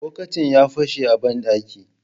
Bokitin ya fashe a banɗaki